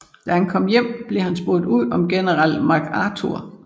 Da han kom hjem blev han spurgt ud om General MacArthur